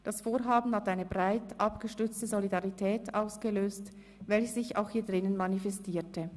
Das Vorhaben hat eine breit abgestützte Solidarität ausgelöst, welche sich auch hier drinnen manifestierte.